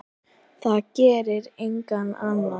Það gerir enginn annar.